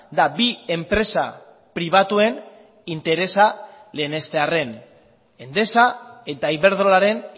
da bi enpresa pribatuen interesa lehenestearren endesa eta iberdrolaren